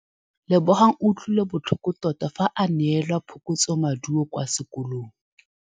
Lebogang o utlwile botlhoko tota fa a neelwa phokotsômaduô kwa sekolong.